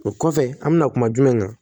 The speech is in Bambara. O kɔfɛ an bɛna kuma jumɛn kan